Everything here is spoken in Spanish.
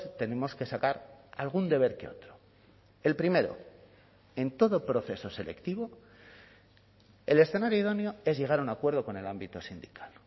tenemos que sacar algún deber que otro el primero en todo proceso selectivo el escenario idóneo es llegar a un acuerdo con el ámbito sindical